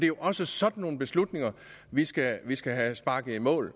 jo også sådan nogle beslutninger vi skal vi skal have sparket i mål